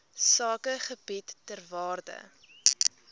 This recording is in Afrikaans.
sakegebiede ter waarde